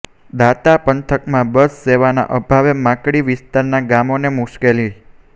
દાંતા પંથકમાં બસ સેવાના અભાવે માકડી વિસ્તારના ગામોને મુશ્કેલી